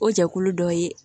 O jɛkulu dɔ ye